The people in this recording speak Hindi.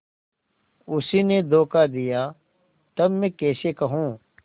उसी ने धोखा दिया तब मैं कैसे कहूँ